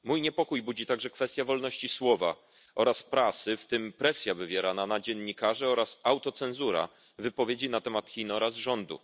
Mój niepokój budzi także kwestia wolności słowa oraz prasy, w tym presja wywierana na dziennikarzy oraz autocenzura wypowiedzi na temat Chin oraz rządu.